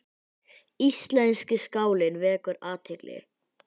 Íslenski skálinn vekur athygli